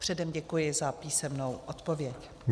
Předem děkuji za písemnou odpověď.